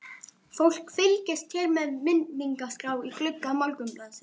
Fólk fylgist hér með vinningaskrá í glugga Morgunblaðsins.